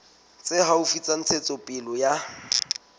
tse haufi tsa ntshetsopele ya